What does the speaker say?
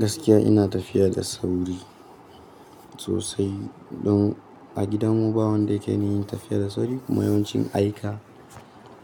Gaskiya ina tafiya da sauri sosai don a gidanmu ba wanda yake niyyin tafiya da sauri kuma yawancin aika